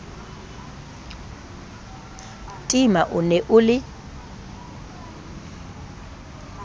tima o ne o le